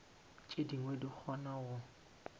tše dingwe di kgona go